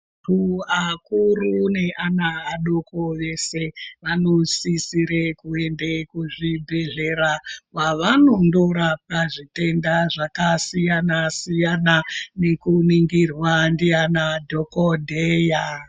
Antu akuru neana adoko eshe anosisira kuenda kuzvibhehlera kwavamondorwpwa zvitenda zvakasiyana siyana nekuninhirwa ndiana dhokodheya.